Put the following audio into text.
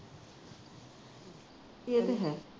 ਇਹ ਤੇ ਹੈ